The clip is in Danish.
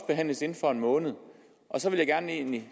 behandles inden for en måned og så vil jeg egentlig